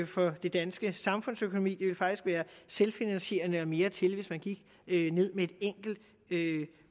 for den danske samfundsøkonomi det ville faktisk være selvfinansierende og mere til hvis man gik ned med et enkelt